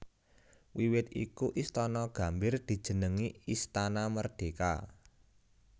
Wiwit iku Istana Gambir dijenengi Istana Merdeka